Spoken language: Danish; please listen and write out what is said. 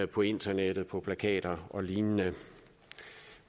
på internettet på plakater og lignende